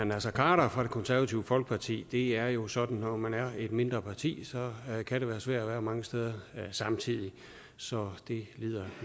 naser khader fra det konservative folkeparti det er jo sådan at når man er et mindre parti kan det være svært at være mange steder samtidig så det lider